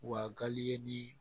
Wa gari ye ni